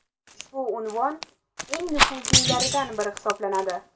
Ushbu unvon eng nufuzlilaridan biri hisoblanadi.